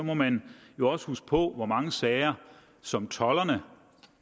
må man jo også huske på hvor mange sager som tolderne